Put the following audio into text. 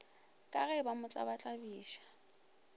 ka ge ba mo tlabatlabiša